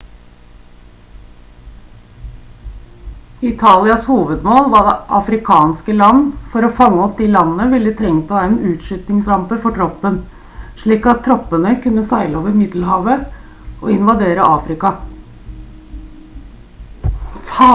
italias hovedmål var afrikanske land for å fange opp de landene ville de trengt å ha en utskytningsrampe for troppen slik at troppene kunne seile over middelhavet og invadere afrika